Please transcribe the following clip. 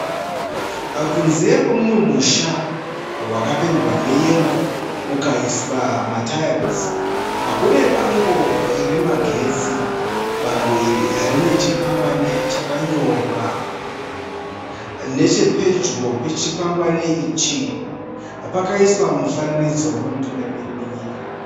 Kunze kweumwe musha wakapendwa neyero ukaiswa matayira, kune bango remagetsi. Bango iri rine chikwangani chakanyorwa. Nechepedyo pechikwangani ichi pakaiswa mufananidzo wemutungamiri wenyika.